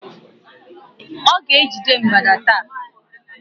Ọ ga-ejide mgbada taa